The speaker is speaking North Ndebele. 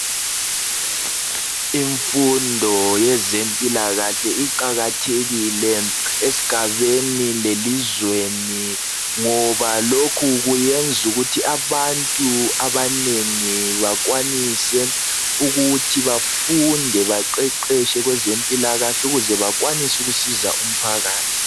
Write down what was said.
Imfundo yezempilakahle iqakathekile esigabeni lelizweni ngoba lokhu kuyenza ukuthi abantu abanengi bakwanise ukuthi bafunde baqeqetshe kwezempilakahle ukuze bakwanise ukusiza umphakathi